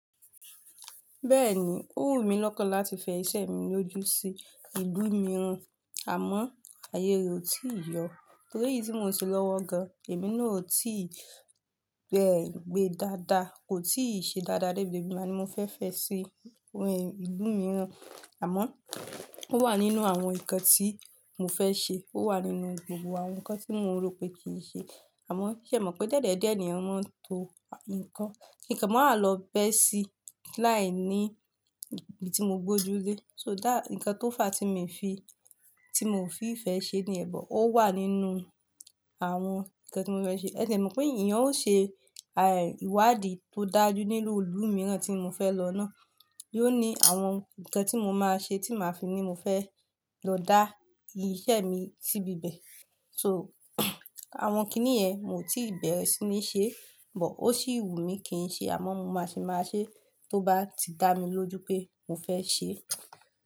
Bẹ́ẹ̀ni, ó wù mí lọ́kàn láti fẹ iṣẹ́ mi lójú sí ìlú mìíràn, àmọ́ ayé re o tí yọ. Torí èyí tí mo ṣe lọ́wọ́ gan, èmi náà ò tí bẹ gbe dáadáa, kò tíì ṣe dáadáa. Gbogbo igba ní mo fẹ́ fẹ́ sí ìlú mìíràn, àmọ́ ó wà nínú àwọn ǹkan tí mo fẹ́ ṣe, ó wà nínú gbogbo àwọn ǹkan tí mo rò pé kì n ṣe. Àmọ́ ṣé ẹ mọ̀ pé dìẹ̀dìẹ́ ènìyàn máa ń to ǹkan. Ki nkan máa lọ bẹ́ sí láìní ibi tí mo gbójú lé. So that ǹkan tó fà á tí mo fi, tí mo fi ìfẹ́ ṣe ni yẹn, bọ̀ ó wà nínú àwọn ǹkan tí mo fẹ́ ṣe. Ẹ dé ẹ mọ̀ pé ènìyàn ó ṣe ìwádìí tó dájú nínú ìlú mìíràn tí mo fẹ́ lọ náà. Yóò ní àwọn ǹkan tí mo máa ṣe tí màá fi ní mo fẹ́ lọ dá iṣẹ́ mi síbi bẹ̀. So àwọn kíní yen, mo ti bẹ̀rẹ̀ sí ní ṣe, bọ̀ ó sì wù mí kí n ṣe, àmọ́ mo máa ṣì máa ṣe tó bá ti dá mi lójú pé mo fẹ́ ṣe.